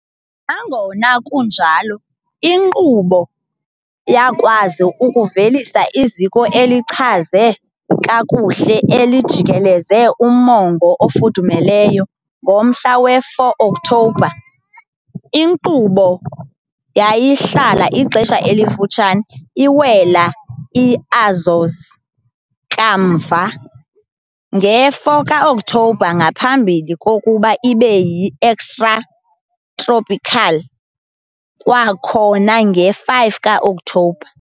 Nangona kunjalo, inkqubo yakwazi ukuvelisa iziko elichazwe kakuhle elijikeleze umongo ofudumeleyo ngomhla we-4 Oktobha. Inkqubo yayihlala ixesha elifutshane, iwela iAzores kamva nge-4ka-Okthobha ngaphambi kokuba ibe yi-extratropical kwakhona nge-5ka-Okthobha.